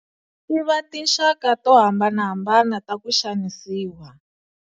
Tiva tinxaka to hambanahambana ta ku Xanisiwa